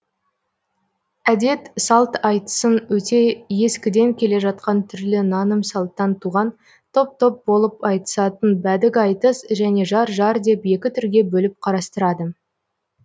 әдет салт айтысын өте ескіден келе жатқан түрлі наным салттан туған топ топ болып айтысатын бәдік айтыс және жар жар деп екі түрге бөліп қарастырады